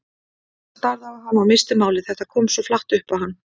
Hann starði á hana og missti málið, þetta kom svo flatt upp á hann.